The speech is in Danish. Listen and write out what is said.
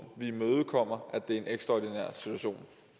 vi imødekommer at det er en ekstraordinær situation